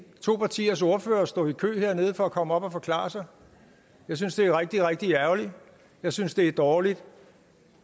to partiers ordførere stå i kø hernede for at komme op og forklare sig jeg synes det er rigtig rigtig ærgerligt jeg synes det er dårligt